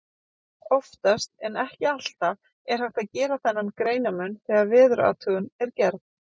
Oftast, en ekki alltaf, er hægt að gera þennan greinarmun þegar veðurathugun er gerð.